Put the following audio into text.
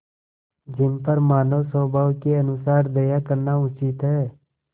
जिन पर मानवस्वभाव के अनुसार दया करना उचित है